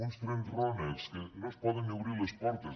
uns trens rònecs que no es poden ni obrir les portes